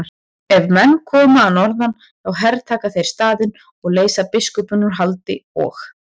Ef menn koma að norðan þá hertaka þeir staðinn og leysa biskupinn úr haldi og.